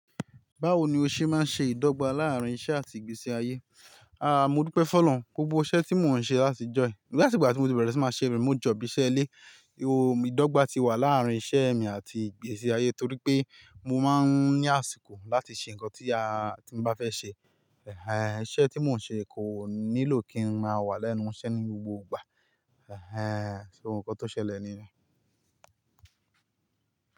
Báwo ni o ṣe máa ń ṣe ìdọ́gba láàárín iṣẹ́ àti ìgbésí ayé? Aà, mo dúpẹ́ fun ọlọrun. Gbogbo iṣẹ́ tí mò ń ṣe láti ìjọ̀yì. Ní àti ìgbà tí mo ti bẹ̀rẹ̀ sí máa ṣe remote jọ̀b iṣẹ́ ilé. Ohun ìdọ́gba ti wà láàárín iṣẹ́ mi àti ìgbésí ayé torí pé mo máa ń ní àsìkò láti ṣe nǹkan tí a-- tí mo bá fẹ́ ṣe. Ẹ̀hẹ̀n, iṣẹ́ tí mò ń ṣe kò nílò kí n máa wà lẹ́nu iṣẹ́ ní gbogbo ìgbà. Ẹ̀hẹ̀n, so ó nǹkan tó ṣẹlẹ̀ niyẹn?